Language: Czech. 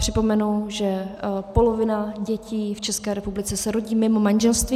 Připomenu, že polovina dětí v České republice se rodí mimo manželství.